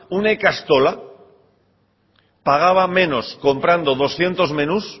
una ikastola pagaba menos comprando doscientos menús